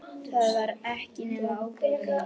Það var ekki nema óbein lygi.